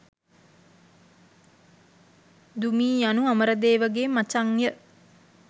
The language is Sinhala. දුමී යනු අමරදේව ගේ මචං ය.